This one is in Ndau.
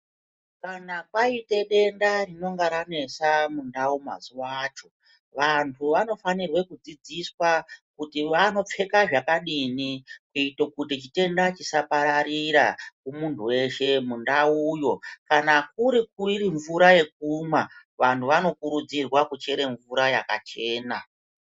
Kana kwaite denda rinonga ranesa muntaraunda mazuwa acho, vantu vanofanirwa kudzidziswa kuti wanopfeka zvakadini kuito kuti chitenda chisapararira kumunhu weshe mundauyo. Kana iri mvura yekumwa vanhu vanokurudzirwa kuchere mvura yakachena.